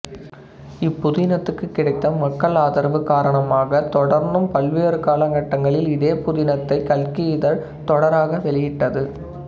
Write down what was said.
இப்புதினத்துக்குக் கிடைத்த மக்கள் ஆதரவு காரணமாகத் தொடர்ந்தும் பல்வேறு காலகட்டங்களில் இதே புதினத்தைக் கல்கி இதழ் தொடராக வெளியிட்டது